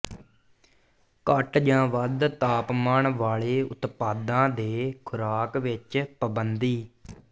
ਘੱਟ ਜਾਂ ਵੱਧ ਤਾਪਮਾਨ ਵਾਲੇ ਉਤਪਾਦਾਂ ਦੇ ਖੁਰਾਕ ਵਿੱਚ ਪਾਬੰਦੀ